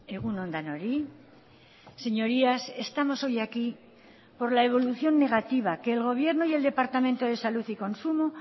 egun on denoi señorías estamos hoy aquí por la evolución negativa que el gobierno y el departamento de salud y consumo